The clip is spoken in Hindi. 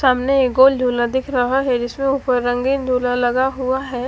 सामने एक गोल झूला दिख रहा हैं जिसमें ऊपर रंगीन झूला लगा हुवा हैं।